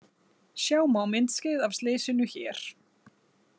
Sjá má myndskeið af slysinu hér